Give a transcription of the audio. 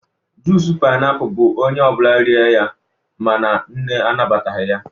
junic painiapulu bu onye obula rie ya, mana nne anabataghi ya